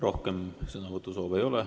Rohkem sõnavõtusoove ei ole.